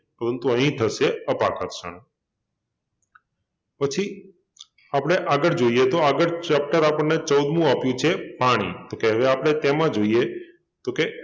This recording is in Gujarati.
પરંતુ અહિ થશે અપાકર્ષણ પછી આપણે આગળ જોઈએ તો આગળ chapter આપણને ચૌદમું આપ્યુ છે પાણી તો કે હવે આપણે તેમાં જોઈએ તો કે